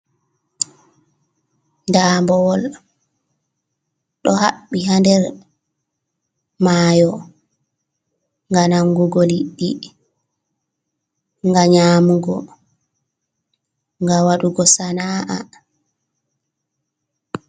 Ndaabowol, ɗo haɓɓi hader mayo, ngam nangugo liɗɗi, ngam nyamugo, gam wadugo sana’a.